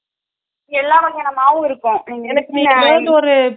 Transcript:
எல்லா வகையான மாவு இருக்கும்